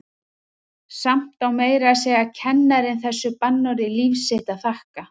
Samt á meira að segja kennarinn þessu bannorði líf sitt að þakka.